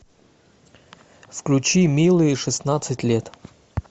включи милые шестнадцать лет